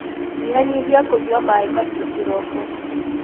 Nyihanyihia kunyua maĩmahiũ kĩroko.